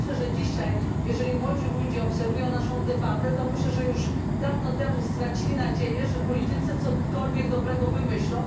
Uważam, że dzisiaj, jeżeli młodzi ludzie obserwują naszą debatę, to myślę, że już dawno temu stracili nadzieję, że politycy cokolwiek dobrego wymyślą.